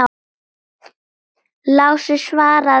Lási svaraði engu.